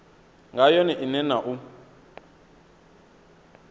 nga yone ine na u